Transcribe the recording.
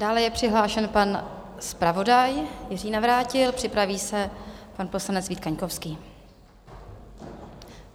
Dále je přihlášen pan zpravodaj Jiří Navrátil, připraví se pan poslanec Vít Kaňkovský.